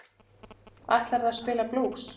Ætlarðu að spila blús?